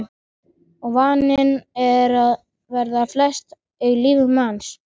Og vaninn er og verður festa í lífi manns.